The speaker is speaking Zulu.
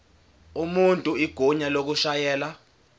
umuntu igunya lokushayela